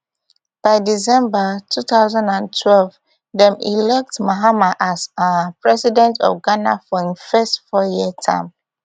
by december two thousand and twelve dem elect mahama as um president of ghana for im first fouryear term